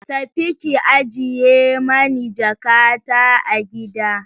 Tafi ki ajiye mani jakata a gida!